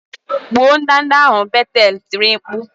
Gbuo ndanda ahụ! Betel tiri mkpu